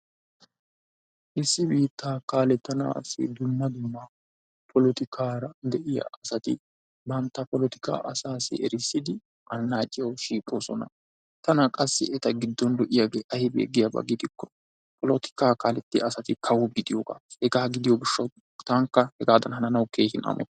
Issi biitta kalatenassi dumma dumma polotikkara de'iyaa asati bantta polotikka asaw qonccissidi annaciyaw shiiqoosona. tana qassi eta giddon lo''iyaabi aybbe giiko polotikka kaaletiyaa asati kawo gidiyoogaa. taanika hegadan hannanaw keehin amotays.